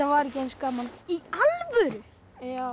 var ekki eins gaman í alvöru já